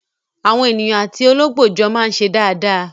Àwọn ènìyàn àti olóńgbò jọ máa ń ṣe dáadáa.